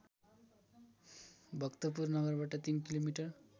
भक्तपुर नगरबाट ३ किलोमिटर